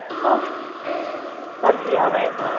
উফ, তোর কি হবে।